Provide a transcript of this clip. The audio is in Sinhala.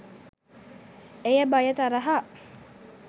එය භය තරහ